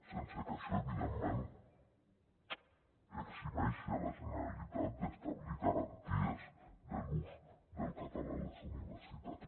sense que això evidentment eximeixi la generalitat d’establir garanties de l’ús del català a les universitats